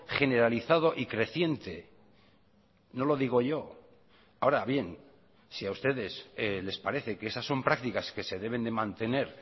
generalizado y creciente no lo digo yo ahora bien si a ustedes les parece que esas son prácticas que se deben de mantener